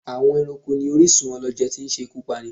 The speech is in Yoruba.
Àwọn Ẹranko ní orísún ọlọjẹ tí ń ṣe ikú Pání